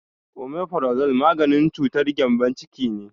Omefrazo maganin cutar gembon ciki ne